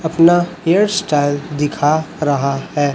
अपना hair style दिखा रहा है।